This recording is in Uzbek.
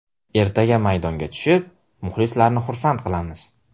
Ertaga maydonga tushib, muxlislarni xursand qilamiz.